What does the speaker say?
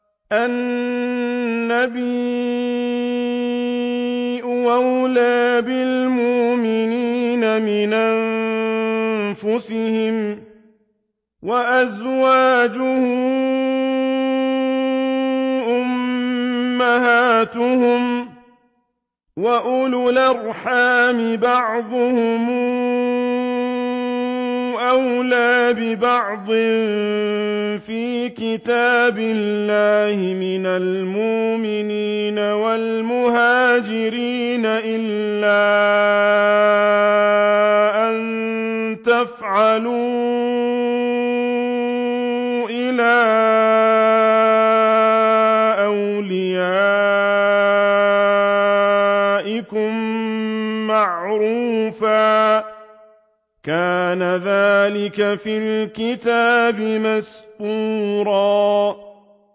النَّبِيُّ أَوْلَىٰ بِالْمُؤْمِنِينَ مِنْ أَنفُسِهِمْ ۖ وَأَزْوَاجُهُ أُمَّهَاتُهُمْ ۗ وَأُولُو الْأَرْحَامِ بَعْضُهُمْ أَوْلَىٰ بِبَعْضٍ فِي كِتَابِ اللَّهِ مِنَ الْمُؤْمِنِينَ وَالْمُهَاجِرِينَ إِلَّا أَن تَفْعَلُوا إِلَىٰ أَوْلِيَائِكُم مَّعْرُوفًا ۚ كَانَ ذَٰلِكَ فِي الْكِتَابِ مَسْطُورًا